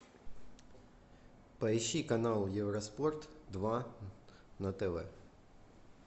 поищи канал евроспорт два на тв